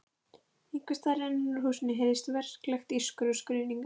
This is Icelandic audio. Einhvers staðar innan úr húsinu heyrðist verklegt ískur og skruðningar.